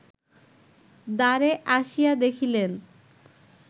দ্বারে আসিয়া দেখিলেন